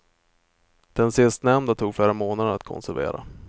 Den sistnämnda tog flera månader att konservera.